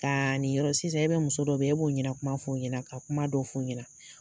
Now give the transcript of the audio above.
Ka ni yɔrɔ sisan e bɛ muso dɔ bɛ yen, e b'o ɲɛna kuma fɔ o ɲɛna ka kuma dɔ fɔ o ɲɛna